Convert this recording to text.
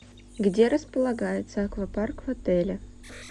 где располагается аквапарк в отеле